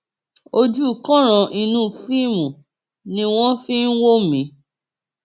ojú kanran inú fíìmù ni wọn fi ń wò mí